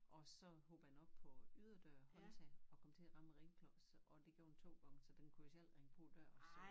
Og så hoppede den op på yderdør håndtag og kom til at ramme ringklokken så og det gjorde den 2 gange så den kunne jo selv ringe på æ dør så